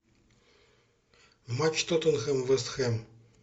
матч тоттенхэм вест хэм